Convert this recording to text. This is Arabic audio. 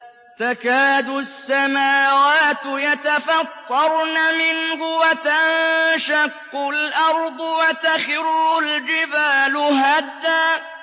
تَكَادُ السَّمَاوَاتُ يَتَفَطَّرْنَ مِنْهُ وَتَنشَقُّ الْأَرْضُ وَتَخِرُّ الْجِبَالُ هَدًّا